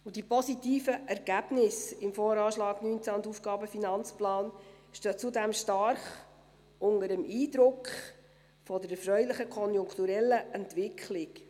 Zudem stehen die positiven Ergebnisse im VA 2019 und im AFP 2020–2022 stark unter dem Eindruck der erfreulichen konjunkturellen Entwicklung.